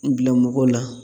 U bila mɔgɔw la